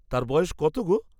তার বয়স কত গো?